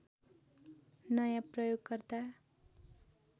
नयाँ प्रयोगकर्ता